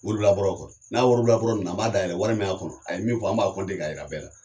Wori labɔrɔ kɔrɔ, n'a ye worilabɔrɔ minɛ an b'a dayɛlɛ wari min y'a kɔnɔ, a ye min fɔ an b'a k'a yira bɛɛ la.